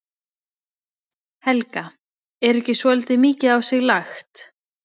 Helga: Er ekki svolítið mikið á sig lagt?